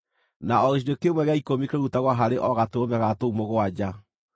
na o gĩcunjĩ kĩmwe gĩa ikũmi kĩrutagwo harĩ o gatũrũme ga tũu mũgwanja.